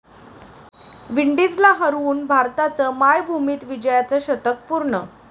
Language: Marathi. विंडीजला हरवून भारताचं मायभूमीत विजयाचं 'शतक' पूर्ण